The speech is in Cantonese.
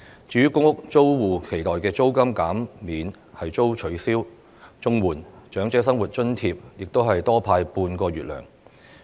至於公屋租戶期待的租金減免亦遭取消，而綜合社會保障援助和長者生活津貼也只多派半個月。